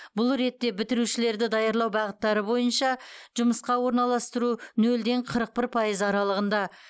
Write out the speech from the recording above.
бұл ретте бітірушілерді даярлау бағыттары бойынша жұмысқа орналастыру нөлден қырық бір пайыз аралығында